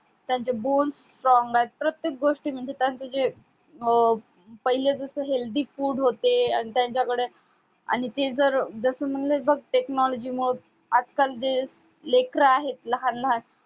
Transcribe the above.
त्यांचे bulls strong आहेत प्रत्येक गोष्टी म्हणजे त्यांचं जे पहिले जसे healthy food होते आणि त्यांच्याकडे आणि ते जस म्हणलं बघ technology मुळे आजकाल जे लेकरं आहेत लहान लहान